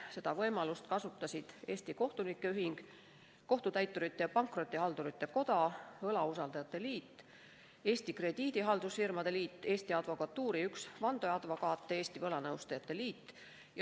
Seda võimalust kasutasid Eesti Kohtunike Ühing, Kohtutäiturite ja Pankrotihaldurite Koda, Eesti Võlausaldajate Liit, Eesti Krediidihaldusfirmade Liit, üks Eesti Advokatuuri vandeadvokaat ja Eesti Võlanõustajate Liit.